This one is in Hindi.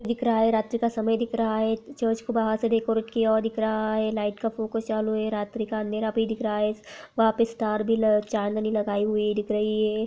दिख रहा है। रात्री का समय दिख रहा है। चर्च को बाहर से देखो क्या दिख रहा है। लाइट का फोकस चालू है रात्री का अंधेरा भी दिख रहा है। वहाँ पर स्टार भी ल चाँदनी लगाई हुई दिख रही है।